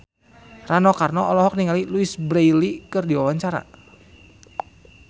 Rano Karno olohok ningali Louise Brealey keur diwawancara